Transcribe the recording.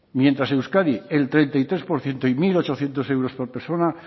mientras euskadi el treinta y tres por ciento y mil ochocientos euros por persona